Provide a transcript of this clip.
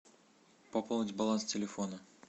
пополнить баланс телефона